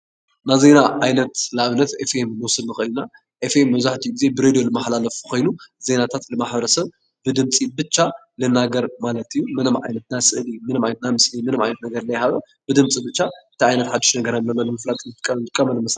ናይ ዜና ዓይነት ንኣብነት FM ንወስድ ንኽእል ኢና FM መብዛሕትኡ ጊዜ ብሬድዮ ዝመሓላለፍ ኮይኑ ዜናታት ንማሕበረሰብ ብድምፂ ብቻ ዝናገር ማለት እዩ፡፡ ምንም ዓይነት ምስሊ ምንምን ዓይነት ስእሊ ምንም ዓይነት ዘይሃለዎ ብድምፂ ብቻ እንታይ ዓይነት ሓዱሽ ነገር ኣሎ ንምፍላጥ ንጥቀምሉ።